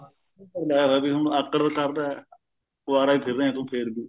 ਉਹ ਅਗਲਾ ਵੀ ਹੁਣ ਆਕੜ ਕਰਦਾ ਕੁਵਾਰਾ ਹੀ ਫਿਰ ਰਿਹਾ ਤੂੰ ਫਿਰ ਵੀ